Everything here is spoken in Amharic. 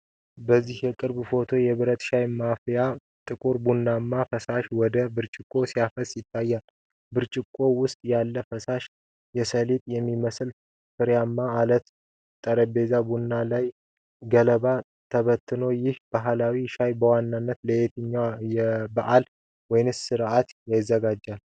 በዚህ የቅርብ ፎቶ፣ የብረት ሻይ ማፍሰሻ ጥቁር ቡናማ ፈሳሽ ወደ ብርጭቆ ሲያፈስ ይታያል። በብርጭቆው ውስጥ ያለው ፈሳሽ የሰሊጥ የሚመስሉ ፍሬዎች አሉት፤ ጠረጴዛው ቡኒ ሲሆን፣ ገለባዎች ተበትነዋል። ይህ ባህላዊ ሻይ በዋነኛነት ለየትኛው በዓል ወይስ ሥነ ሥርዓት ይዘጋጃል?